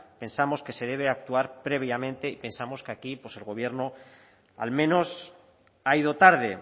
pensamos que se debe actuar previamente y pensamos que aquí pues el gobierno al menos ha ido tarde